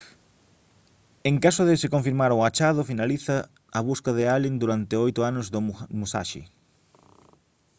en caso de se confirmar o achado finaliza a busca de allen durante oito anos do musashi